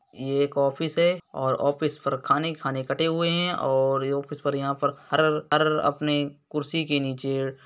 ये एक ऑफिस है और ऑफिस पर खाने खाने कटे हुए हैं और ये ऑफिस पर यहाँ पर अपने कुर्सी के नीचे --